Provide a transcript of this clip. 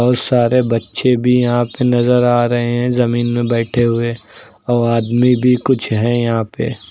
बहुत सारे बच्चे भी यहां पे नजर आ रहे हैं जमीन में बैठे हुए और आदमी भी कुछ है यहां पे।